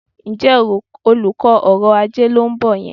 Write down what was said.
Ǹjẹ́ olùkọ́ ọrọ̀-ajé ló ń bọ̀ yẹn?